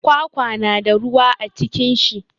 Kwakwa na da ruwa a cikin shi.